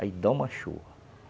Aí dá uma chuva.